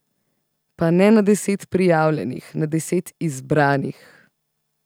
Pa ne na deset prijavljenih, na deset izbranih.